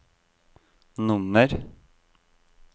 nummer